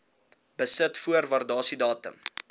besit voor waardasiedatum